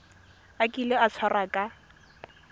a kile a tshwarwa ka